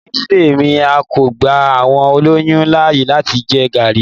Ni ìdílé mi, a ò kí gba àwọn olóyún láàyè láti jẹ Garri.